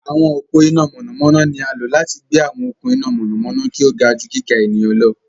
Àwọn ọpo iná mọnamọna ní a lo láti gbé àwọn okun iná mọnamọna kí o ga jù gíga ènìyàn lọ